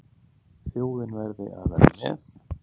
Þjóðin verði að vera með.